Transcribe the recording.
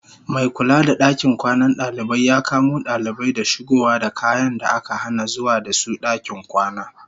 Mai kula da dakin kwanan dalibai ya kamo dalibai da shigowa da kayan da aka hana zuwa da su dakin kwana.